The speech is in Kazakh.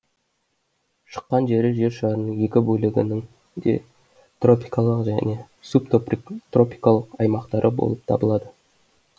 шыққан жері жер шарының екі бөлігінің де тропикалық жөне субтропикалық аймақтары болып табылады